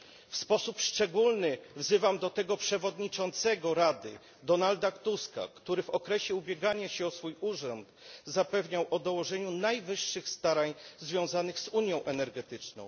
W sposób szczególny wzywam do tego przewodniczącego Rady Donalda Tuska, który w okresie ubiegania się o urząd zapewniał o dołożeniu najwyższych starań związanych z unią energetyczną.